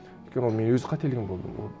өйткені ол менің өз қателігім болды